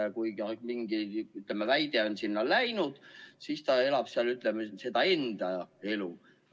Aga kui mingi väide on ajakirjandusse läinud, siis ta elab seal seda enda elu.